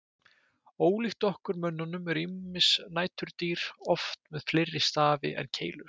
Ólíkt okkur mönnunum eru ýmis næturdýr oft með fleiri stafi en keilur.